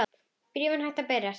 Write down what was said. Bréfin hættu að berast.